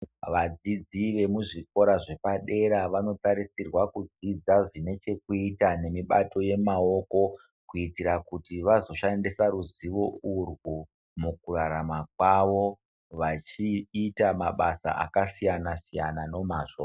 Vadzidzi vemuzvikora zvepadera vanotarisirwa kudzidza zvinechekuita nemibato yemaoko kuitira kuti vazoshandisa ruzivo urwu mukurarama kwavo vachiita mabasa akasiyana siyana nomazvo.